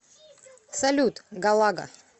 салют галага